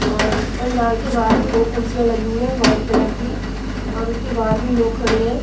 और पंडाल के बाहर भी दो कुर्सियां लगी हुई है वाइट कलर की और उसके बाहर भी लोग खड़े हैं।